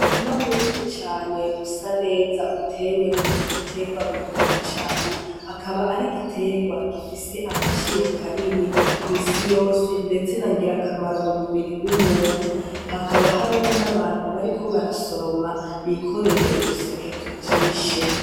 Rima munini cane usa neza utewemwo igiterwa bita icayi akaba ari igiterwa gifise agaciro kanini kw'isi yose, ndetse nangira akamaro mu mubiri w'umuntu hakaba hariho n'abantu bariko barasoroma bikoreye uduseke tujishe.